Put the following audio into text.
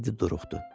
Teddi duruxdu.